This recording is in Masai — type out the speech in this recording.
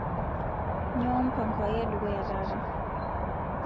nyoo mpango aai edukuya taata